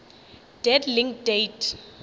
dead link date